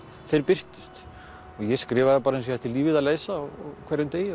þeir birtust ég skrifaði bara eins og ég ætti lífið að leysa á hverjum degi